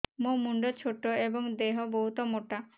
ମୋ ମୁଣ୍ଡ ଛୋଟ ଏଵଂ ଦେହ ବହୁତ ମୋଟା